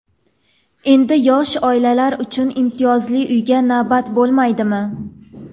Endi yosh oilalar uchun imtiyozli uyga navbat bo‘lmaydimi?.